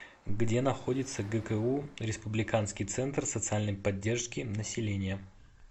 где находится гку республиканский центр социальной поддержки населения